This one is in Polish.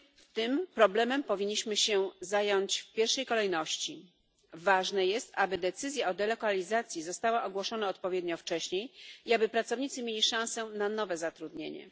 Tym problemem powinniśmy się zająć w pierwszej kolejności ważne jest, aby decyzja o delegalizacji została ogłoszona odpowiednio wcześnie i aby pracownicy mieli szansę na nowe zatrudnienie.